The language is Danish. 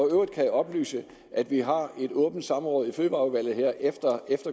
øvrigt kan jeg oplyse at vi har et åbent samråd i fødevareudvalget her efter